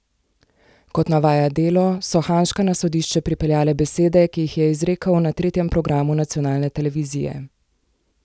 Kot navaja Delo, so Hanžka na sodišče pripeljale besede, ki jih je izrekel na tretjem programu nacionalne televizije.